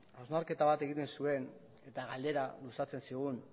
hausnarketa bat egiten zuen eta galdera luzatzen zigun